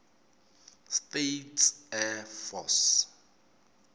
states air force